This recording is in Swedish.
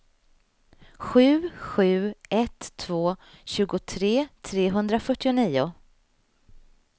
sju sju ett två tjugotre trehundrafyrtionio